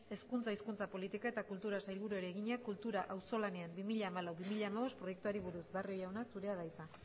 hezkuntza hizkuntza politika eta kulturako sailburuari egina kultura auzolanean bi mila hamalau bi mila hamabost proiektuari buruz barrio jauna zurea da hitza